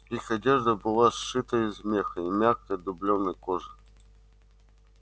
их одежда была сшита из меха и мягкой дублёной кожи